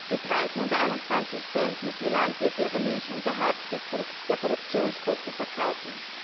Mit Preisen unter 21 Cent müssen die Landwirte ihre Milch unterhalb der Produktionskosten verkaufen.